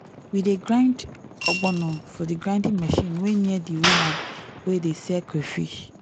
we dey grind ogbono for the grinding machine wey near the woman wey dey sell crayfish.